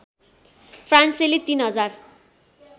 फ्रान्सेली ३०००